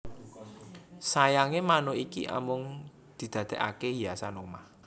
Sayange manuk iki amung didadekake hiasan omah